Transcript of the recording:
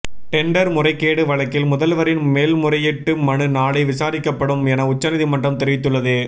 tender முறைகேடு வழக்கில் முதல்வரின் மேல்முறையீட்டு மனு நாளை விசாரிக்கப்படும் என உச்சநீதிமன்றம் தெரிவித்துள்ளது